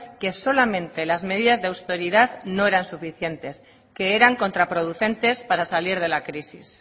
que solamente las medidas de austeridad no eran suficientes que eran contraproducentes para salir de la crisis